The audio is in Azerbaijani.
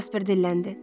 Jasper dilləndi.